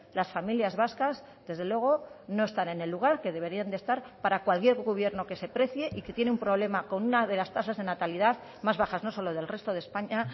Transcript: las familias vascas desde luego no están en el lugar que deberían de estar para cualquier gobierno que se precie y que tiene un problema con una de las tasas de natalidad más bajas no solo del resto de españa